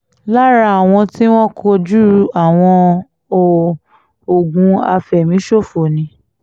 lára àwọn t ìwọ̀n kojú àwọn óò ogun àfẹ̀míṣòfò ni